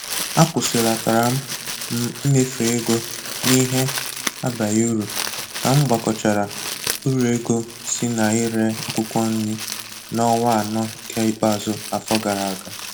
Akwụsịlatara m m imefu ego n'ihe abaghị uru ka m gbakọchara uru ego si na ire akwụkwọ nri n'ọnwa anọ nke ikpeazụ afọ gara aga